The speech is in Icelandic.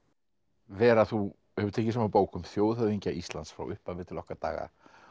vera þú hefur tekið saman bók um þjóðhöfðingja Íslands frá upphafi til okkar daga